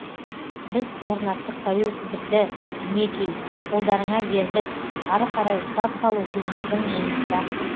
біз орнаттық тәуелсіздікті мінекей қолдарыңа бердік ары қарай ұстап қалу сендердің мойныңда